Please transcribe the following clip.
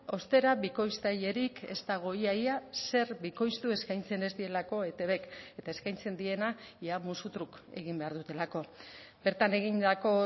ostera bikoiztailerik ez dago ia ia zer bikoiztu eskaintzen ez dielako etbk eta eskaintzen diena ia musu truk egin behar dutelako bertan egindako